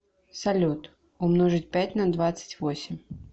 салют умножить пять на двадцать восемь